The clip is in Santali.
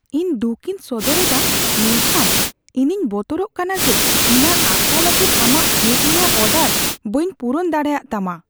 ᱤᱧ ᱫᱩᱠᱷᱤᱧ ᱥᱚᱫᱚᱨ ᱮᱫᱟ, ᱢᱮᱱᱠᱷᱟᱱ ᱤᱧᱤᱧ ᱵᱚᱛᱚᱨᱚᱜ ᱠᱟᱱᱟ ᱡᱮ ᱚᱱᱟ ᱟᱠᱷᱲᱟ ᱞᱟᱹᱜᱤᱫ ᱟᱢᱟᱜ ᱠᱮᱠ ᱨᱮᱭᱟᱜ ᱚᱰᱟᱨ ᱵᱟᱹᱧ ᱯᱩᱨᱩᱱ ᱫᱟᱲᱮᱭᱟᱜᱼᱛᱟᱢᱟ ᱾